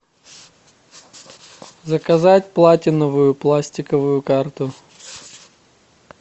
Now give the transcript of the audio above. заказать платиновую пластиковую карту